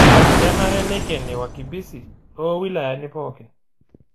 Kenare neikeni wakimbisi too wilayani pooki